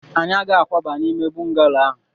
anyị agaghị akwaba n'ime bọngalo ahụ